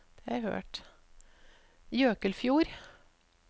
Jøkelfjord